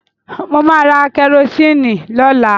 Mo máa ra kẹrosíìnì lọ́la.